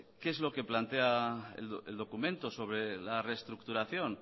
qué es lo que plantea el documento sobre la restructuración